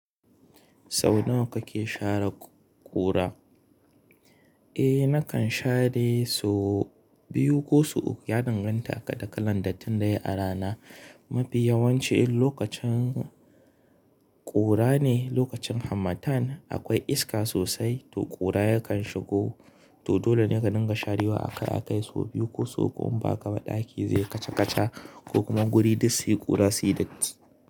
Sau nawa kake share ƙura? Eh, nakan share sau biyu ko sau uku. Ya danganta da kalan dattin da yayi arana. Mafi yawanci lokacin ƙura ne, lokacin harmattan akwai iska sosai to ƙura yakan shigo. To dole ne ka dinga sharewa. A kai sau biyu ko sau uku in ba ka ba ɗaki zai kaca kaca ko kuma guri duk su yi ƙura suyi datti.